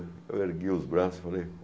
Eu ergui os braços e falei